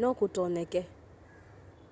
no kutonyeke